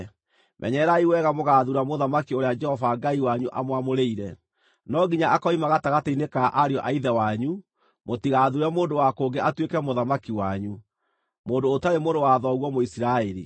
Menyererai wega mũgaathuura mũthamaki ũrĩa Jehova Ngai wanyu amwamũrĩire. No nginya akoima gatagatĩ-inĩ ka ariũ a ithe wanyu. Mũtigathuure mũndũ wa kũngĩ atuĩke mũthamaki wanyu, mũndũ ũtarĩ mũrũ wa thoguo Mũisiraeli.